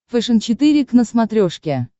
фэшен четыре к на смотрешке